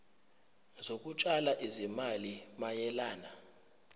zokutshala izimali mayelana